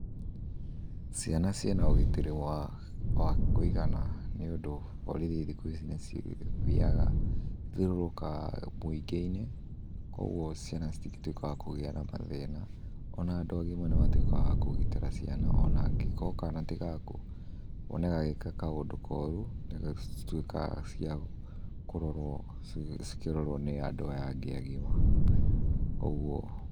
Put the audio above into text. Ciana ciĩna ũgitĩri wa wa kũigana nĩũndũ, borithi thikũ ici nĩcithiaga nĩcithiũrũrũkaga mũingĩ-inĩ, kuoguo ciana citingĩtuĩka a kũgia na mathĩna. Ona andũ agima no matuĩke akũgitĩra ciana, ona angĩkorwo kana ti gaku, wone gagĩka kaũndũ koru, nĩcituĩkaga cia kũrorũo cikĩrorũo nĩ andũ aya angĩ agima. Kuoguo.